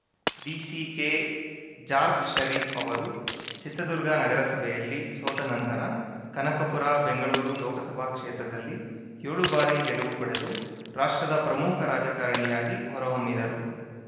ದಿಸಿಕೆಜಾರ್ಫ್ ಷರೀಫ್‌ ಅವರು ಚಿತ್ರದುರ್ಗ ನಗರಸಭೆಯಲ್ಲಿ ಸೋತ ನಂತರ ಕನಕಪುರ ಬೆಂಗಳೂರು ಲೋಕಸಭಾ ಕ್ಷೇತ್ರದಲ್ಲಿ ಏಳು ಬಾರಿ ಗೆಲುವು ಪಡೆದು ರಾಷ್ಟ್ರದ ಪ್ರಮುಖ ರಾಜಕಾರಣಿಯಾಗಿ ಹೊರಹೊಮ್ಮಿದರು